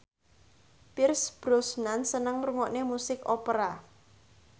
Pierce Brosnan seneng ngrungokne musik opera